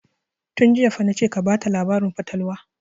Tun jiya fa na ce ka bata labarin fatalwa!